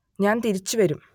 ഞാൻ തിരിച്ചുവരും